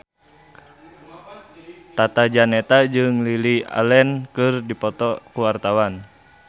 Tata Janeta jeung Lily Allen keur dipoto ku wartawan